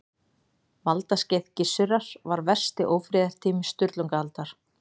Valdaskeið Gissurar var versti ófriðartími Sturlungaaldar.